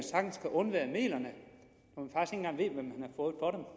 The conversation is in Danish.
undvære midlerne når